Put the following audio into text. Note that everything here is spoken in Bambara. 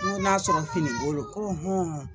ŋo n'a sɔrɔ fini ko lo ko